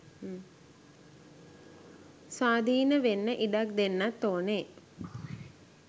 ස්වාධින වෙන්න ඉඩක් දෙන්නත් ඕනෙ